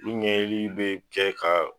Olu ɲɛɲinili bɛ kɛ ka